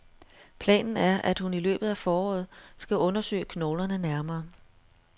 Planen er, at hun i løbet af foråret skal undersøge knoglerne nærmere.